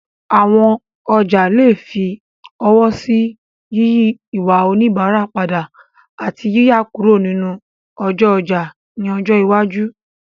Àwọn ọjà lè fi ọwọ́ sí yíyí ìwà oníbàárà padà, àti yíyà kúrò nínú ọjọ́ ọjà ní ọjọ́ iwájú.